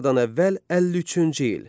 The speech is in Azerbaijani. Eradan əvvəl 53-cü il.